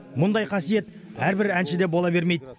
мұндай қасиет әрбір әншіде бола бермейді